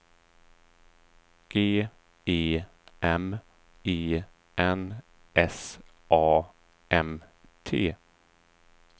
G E M E N S A M T